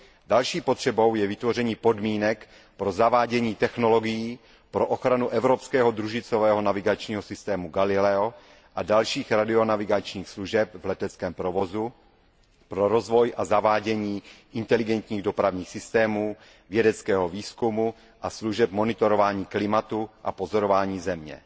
Další potřebou je vytvoření podmínek pro zavádění technologií pro ochranu evropského družicového navigačního systému Galileo a dalších radionavigačních služeb v leteckém provozu, pro rozvoj a zavádění inteligentních dopravních systémů, vědeckého výzkumu a služeb monitorování klimatu a pozorování Země.